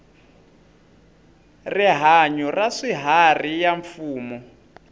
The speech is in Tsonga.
rihanyu ra swiharhi ya mfumo